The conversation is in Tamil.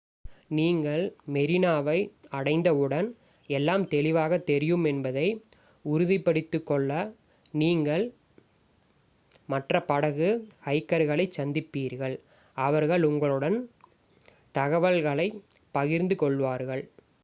நீங்கள் மெரினாவை அடைந்தவுடன் எல்லாம் தெளிவாகத் தெரியும் என்பதை உறுதிப்படுத்திக்கொள்ளவும் நீங்கள் மற்ற படகு ஹைக்கர்களைச் சந்திப்பீர்கள் அவர்கள் உங்களுடன் தகவல்களைப் பகிர்ந்து கொள்வார்கள்